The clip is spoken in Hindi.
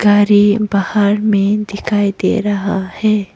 गाड़ी बाहर में दिखाई दे रहा है।